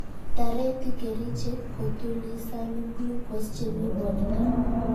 Tareti kerichek kotulisani glucose chemii borta